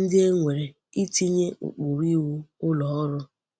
ndi e nwere itinye ukpuru iwu uloru.